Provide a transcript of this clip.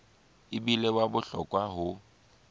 e bile wa bohlokwa ho